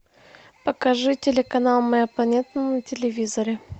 покажи телеканал моя планета на телевизоре